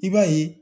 I b'a ye